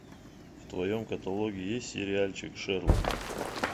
в твоем каталоге есть сериальчик шерлок